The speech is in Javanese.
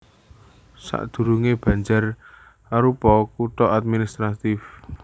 Sadurungé Banjar arupa kutha administratif